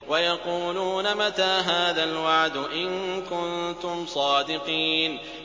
وَيَقُولُونَ مَتَىٰ هَٰذَا الْوَعْدُ إِن كُنتُمْ صَادِقِينَ